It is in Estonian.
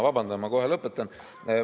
Vabandan, ma kohe lõpetan!